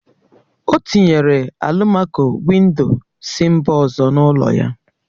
O tinyere alụmaco-windo si mba ọzọ n'ụlọ ya